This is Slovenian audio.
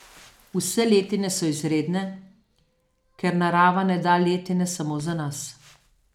Vse letine so izredne, ker narava ne da letine samo za nas.